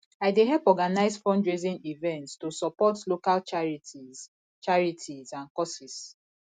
i dey help organize fundraising events to support local charities charities and causes